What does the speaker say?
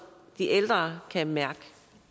de ældre kan mærke